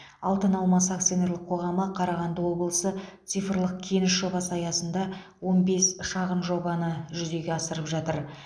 алтыналмас акционерлік қоғамы қарағанды облысы цифрлық кеніш жобасы аясында он бес шағын жобаны жүзеге асырып жатыр